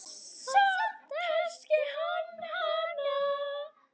Samt elski hann hana.